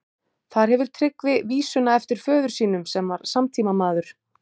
Þar hefur Tryggvi vísuna eftir föður sínum, sem var samtímamaður